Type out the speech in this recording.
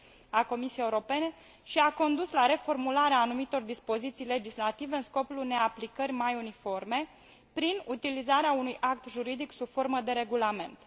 a Comisiei Europene și a condus la reformularea anumitor dispoziții legislative în scopul unei aplicări mai uniforme, prin utilizarea unui act juridic sub formă de regulament.